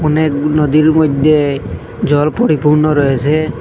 অনেক গু-নদীর মইধ্যে জল পরিপূর্ণ রয়েছে।